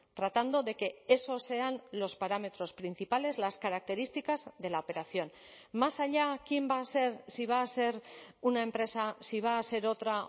tratando de que esos sean los parámetros principales las características de la operación más allá quién va a ser si va a ser una empresa si va a ser otra